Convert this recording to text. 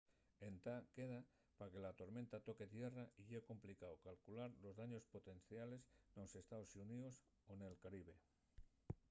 entá queda pa que la tormenta toque tierra y ye complicao calcular los daños potenciales nos estaos xuníos o nel caribe